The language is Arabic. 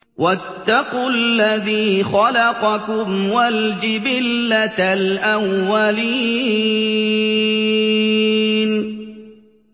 وَاتَّقُوا الَّذِي خَلَقَكُمْ وَالْجِبِلَّةَ الْأَوَّلِينَ